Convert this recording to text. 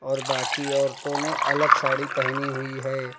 और बाकी औरतों ने अलग साड़ी पहनी हुई।